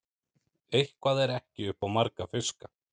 Eitthvað er ekki upp á marga fiska